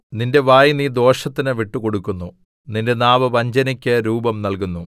നിന്റെ വായ് നീ ദോഷത്തിന് വിട്ടുകൊടുക്കുന്നു നിന്റെ നാവ് വഞ്ചനയ്ക്ക് രൂപം നൽകുന്നു